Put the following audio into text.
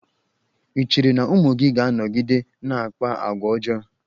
I cheere na ụmụ gị ga-anọgide na-akpa agwa ọjọọ?